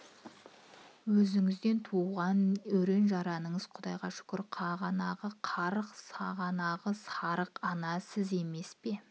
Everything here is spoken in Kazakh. өзіңізден туған өрен-жараныңыз құдайға шүкір қағанағы қарқ сағанағы сарқ ана сіз емес пе